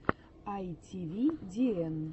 айтивидиэн